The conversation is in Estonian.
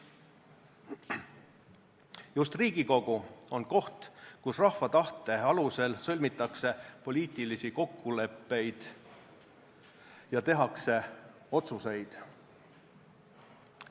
Just Riigikogu on koht, kus rahva tahte alusel sõlmitakse poliitilisi kokkuleppeid ja tehakse otsuseid.